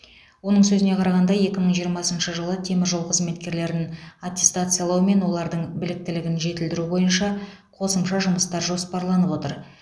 оның сөзіне қарағанда екі мың жиырмасыншы жылы теміржол қызметкерлерін аттестациялау мен олардың біліктілігін жетілдіру бойынша қосымша жұмыстар жоспарланып отыр